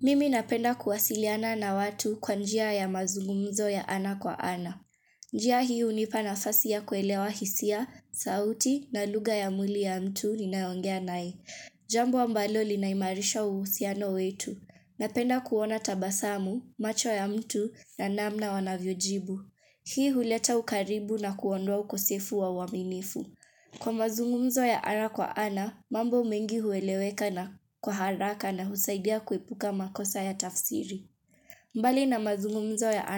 Mimi napenda kuwasiliana na watu kwa njia ya mazungumzo ya ana kwa ana. Njia hii hunipa nafasi ya kuelewa hisia, sauti na lugha ya mwili ya mtu ninayeongea naye. Jambo ambalo linaimarisha uhusiano wetu. Napenda kuona tabasamu, macho ya mtu na namna wanavyojibu. Hii huleta ukaribu na kuondoa ukosefu wa uaminifu. Kwa mazungumzo ya ana kwa ana, mambo mengi hueleweka na kwa haraka na husaidia kuepuka makosa ya tafsiri. Mbali na mazungumzo ya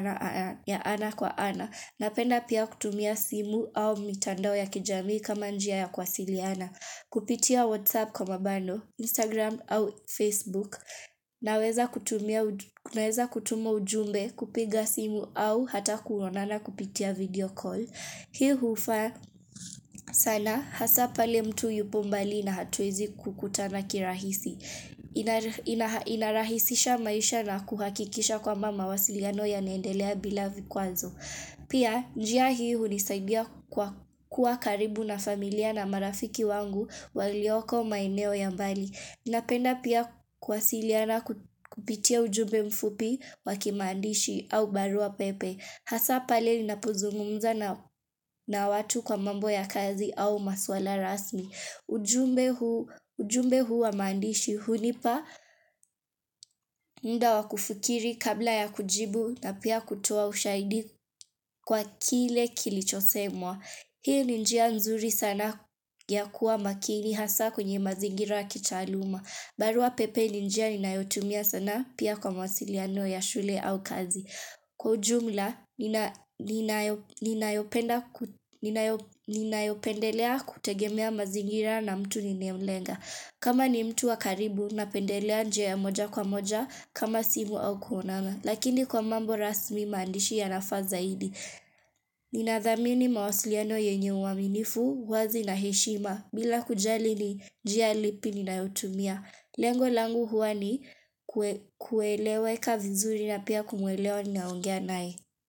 ana kwa ana, napenda pia kutumia simu au mitandao ya kijamii kama njia ya kuwasiliana. Kupitia WhatsApp kwa mabundle, Instagram au Facebook. Naweza kutuma ujumbe kupiga simu au hata kuonana kupitia video call. Hii hufaa sana hasa pale mtu yupo mbali na hatuwezi kukutana kirahisi. Inarahisisha maisha na kuhakikisha kwamba mawasiliano yanaendelea bila vikwazo. Pia njia hii hunisaidia kuwa karibu na familia na marafiki wangu walioko maeneo ya mbali. Napenda pia kuwasiliana kupitia ujumbe mfupi wa kimaandishi au baruapepe. Hasa pale ninapozungumza na watu kwa mambo ya kazi au masuala rasmi. Ujumbe huu wa maandishi hunipa muda wa kufikiri kabla ya kujibu na pia kutoa ushahidi kwa kile kilichosemwa. Hii ni njia nzuri sana ya kuwa makini hasa kwenye mazingira ya kitaaluma. Baruapepe ni njia inayotumia sanaa pia kwa mawasiliano ya shule au kazi. Kwa ujumla, ninayopendelea kutegemea mazingira na mtu ninaye mlenga. Kama ni mtu wa karibu, napendelea njia ya moja kwa moja kama simu au kuonana. Lakini kwa mambo rasmi maandishi yanafaa zaidi. Ninathamini mawasiliano yenye uaminifu, uwazi na heshima, bila kujali ni njia lipi ninayotumia. Lengo langu huwa ni kueleweka vizuri na pia kumwelewa ninayeongea naye.